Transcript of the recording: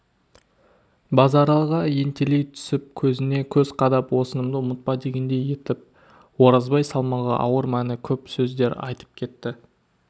базаралыға ентелей түсіп көзіне көз қадап осынымды ұмытпа дегендей етіп оразбай салмағы ауыр мәні көп сөздер айтып кетті